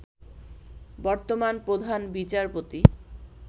বর্তমান প্রধান বিচারপতি